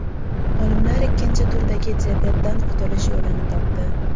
Olimlar ikkinchi turdagi diabetdan qutulish yo‘lini topdi.